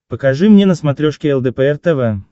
покажи мне на смотрешке лдпр тв